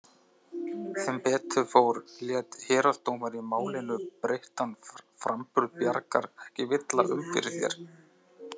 Sem betur fór lét héraðsdómari í Málinu breyttan framburð Bjargar ekki villa um fyrir sér.